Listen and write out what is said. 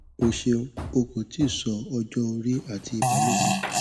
o ṣeun o ko ti sọ ọjọ ori ati ibalopo